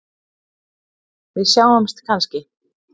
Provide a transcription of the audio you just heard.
Við sjáumst kannski?